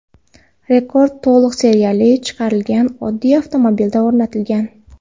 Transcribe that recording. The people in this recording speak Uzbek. Rekord to‘liq seriyali chiqarilgan oddiy avtomobilda o‘rnatilgan.